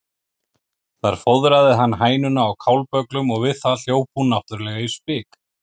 Þar fóðraði hann hænuna á kálbögglum og við það hljóp hún náttúrlega í spik.